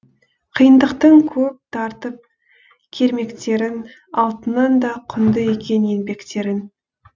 қиындықтың көп тартып кермектерін алтыннан да құнды екен еңбектерің